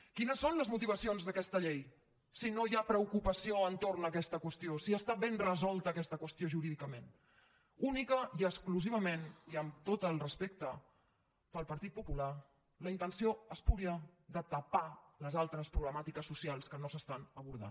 quines són les motivacions d’aquesta llei si no hi ha preocupació entorn d’aquesta qüestió si està ben resolta aquesta qüestió jurídicament únicament i exclusivament i amb tot el respecte pel partit popular la intenció espúria de tapar les altres problemàtiques socials que no s’estan abordant